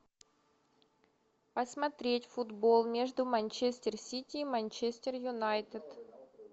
посмотреть футбол между манчестер сити и манчестер юнайтед